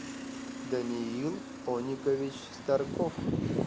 даниил оникович старков